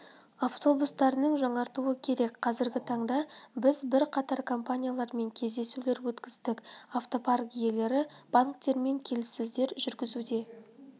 автобустарының жаңартуы керек қазіргі таңда біз бірқатар компаниялармен кездесулер өткіздік автопарк иелері банктермен келіссөздер жүргізуде